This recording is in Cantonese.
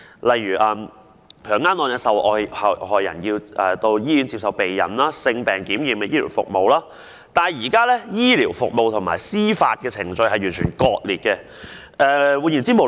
例如強姦案的受害人要到醫院接受避孕、性病檢驗的醫療服務，但現時醫療服務與司法程序完全割裂。